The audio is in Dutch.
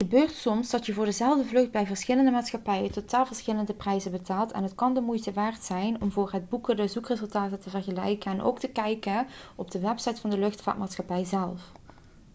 het gebeurt soms dat je voor dezelfde vlucht bij verschillende maatschappijen totaal verschillende prijzen betaalt en het kan de moeite waard zijn om voor het boeken de zoekresultaten te vergelijken en ook te kijken op de website van de luchtvaartmaatschappij zelf